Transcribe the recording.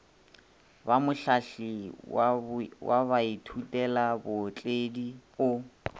ba mohlahli wa baithutelabootledi o